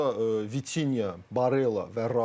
Ortada Vitinya, Barella və Rice.